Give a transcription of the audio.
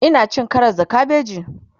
Ina cin Karas da kabeji